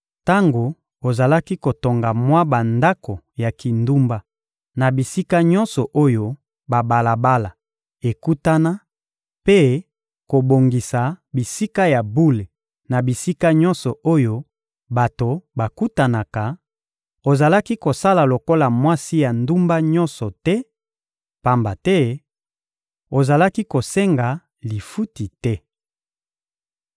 Tango ozalaki kotonga mwa bandako ya kindumba na bisika nyonso oyo babalabala ekutana mpe kobongisa bisika ya bule na bisika nyonso oyo bato bakutanaka, ozalaki kosala lokola mwasi ya ndumba nyonso te, pamba te ozalaki kosenga lifuti te.